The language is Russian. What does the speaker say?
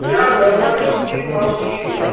я говорю ты молчишь